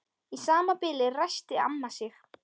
Í sama bili ræskti amma sig.